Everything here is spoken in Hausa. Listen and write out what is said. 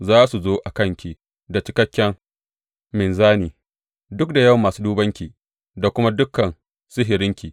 Za su zo a kanki da cikakken minzani, duk da yawan masu dubanki da kuma dukan sihirinki.